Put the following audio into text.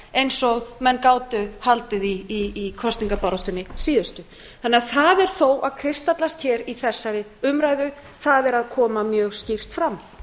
eins og menn gátu haldið í kosningabaráttunni síðustu þannig að það er þó að kristallast hér í þessari umræðu það er að koma mjög skýrt fram